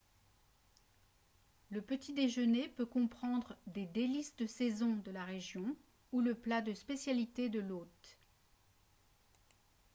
le petit déjeuner peut comprendre des délices de saison de la région ou le plat de spécialité de l'hôte